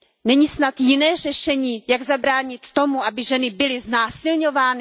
Není snad jiné řešení, jak zabránit tomu, aby ženy byly znásilňovány?